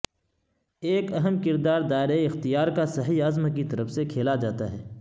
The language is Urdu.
ایک اہم کردار دائرہ اختیار کا صحیح عزم کی طرف سے کھیلا جاتا ہے